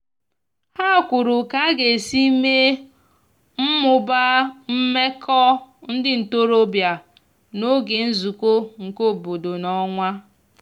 ha kwuru ka aga esi mee/mụbaa meko ndi ntorobia n'oge nzuko nke obodo n'onwa